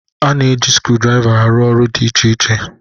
A na-eji skrudraịva arụ ọrụ dị iche iche.